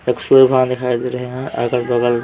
दिखाई दे रहे हैं अगल-बगल --